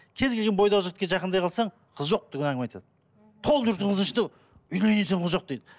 кез келген бойдақ жігітке жақындай қалсаң қыз жоқ деген әңгіме айтады толып жүрген қыздың ішінде үйленетін қыз жоқ дейді